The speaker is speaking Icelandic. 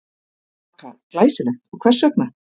Vaka: Glæsilegt og hvers vegna?